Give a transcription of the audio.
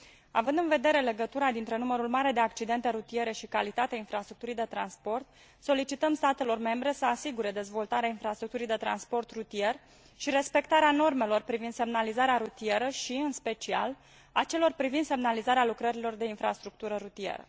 Având în vedere legătura dintre numărul mare de accidente rutiere și calitatea infrastructurii de transport, solicităm statelor membre să asigure dezvoltarea infrastructurii de transport rutier și respectarea normelor privind semnalizarea rutieră și, în special, a celor privind semnalizarea lucrărilor de infrastructură rutieră.